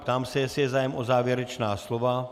Ptám se, jestli je zájem o závěrečná slova.